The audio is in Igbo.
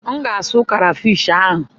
M ga-asụ krafish ahụ.